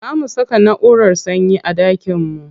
Za mu saka naʼurar sanyi a ɗakin mu.